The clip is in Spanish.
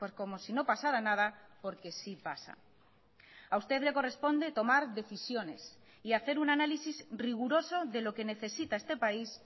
como si no pasara nada porque sí pasa a usted le corresponde tomar decisionesy hacer un análisis riguroso de lo que necesita este país